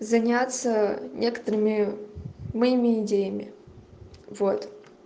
заняться некоторыми моими идеями вот